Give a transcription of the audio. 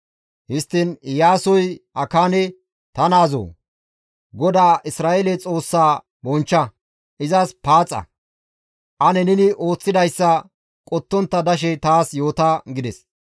Histtiin Iyaasoy Akaane, «Ta naazoo! GODAA Isra7eele Xoossaa bonchcha; izas paaxa; ane neni ooththidayssa qottontta dashe taas yoota» gides.